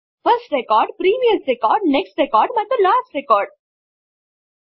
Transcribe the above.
first record previous record next record ಮತ್ತು last record